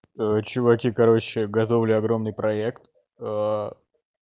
чуваки короче готовлю огромный проект